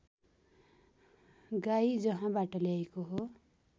गाई जहाँबाट ल्याएको हो